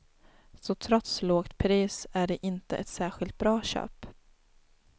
Så trots lågt pris är det inte ett särskilt bra köp.